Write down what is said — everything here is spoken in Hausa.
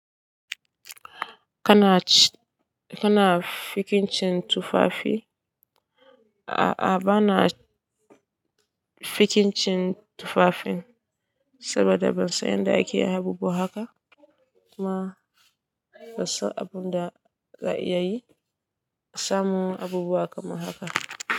Kana fikincin tufafi? A'a bana fikincin tufafin saboda ban san yadda ake yi abubuwa haka kuma ban san abun da za'a iya yi. Samun abubuwa kamar haka.